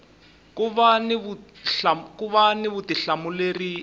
ku va ni vutihlamuleri eka